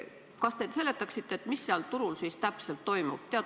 Kas te seletaksite, mis seal turul siis täpselt toimub?